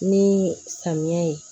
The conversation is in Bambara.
Ni samiya ye